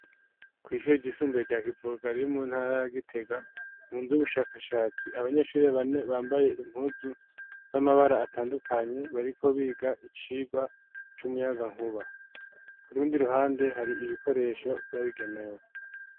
Kw'ishure igisumbuye rya givugaro riumu ntara yagitega mu nzu ubushakashatsi abanyeshuri bane bambaye impuzu z'amabara atandukanye bariko biga icirwa c'umuyaga nkuba ku rundi ruhande hari ibikoresho vyabigenewe.